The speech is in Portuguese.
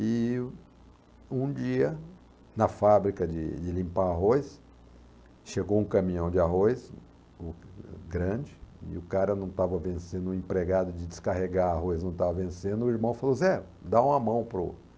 E o um dia, na fábrica de de limpar arroz, chegou um caminhão de arroz, o o grande, e o cara não estava vencendo, o empregado de descarregar arroz não estava vencendo, o irmão falou, Zé, dá uma mão para o...